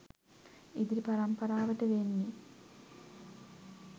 ඉදිරි පරම්පරාවට වෙන්නෙ